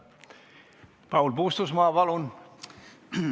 Paul Puustusmaa, palun!